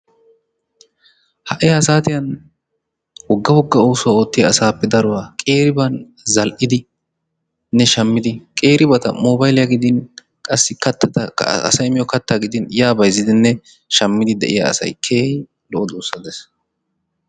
Ha"i ha saatiyan wogga wogga oosuwa oottiya asaappe daruwa qeeriban zal"idinne shammidi qeeribata moobayliya gidin qassi kattatakka, asay miyo kattaa gidin yaa bayzzidinne shammidi de'iya asay lo"o duussaa de'ees.